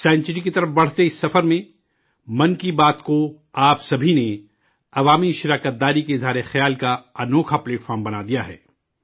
century کی طرف بڑھتے اس سفر میں، 'من کی بات' کو، آپ سبھی نے، عوامی حصہ داری کے اظہار کا شاندار پلیٹ فارم بنا دیا ہے